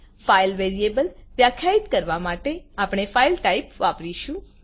file variable વ્યાખ્યાયિત કરવા માટે આપણે ફાઇલ ટાઇપ વાપરીશું